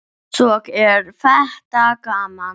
Svo er þetta gaman.